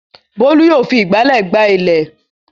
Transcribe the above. Bólú yóò fi ìgbálẹ̀ gbá ilẹ̀.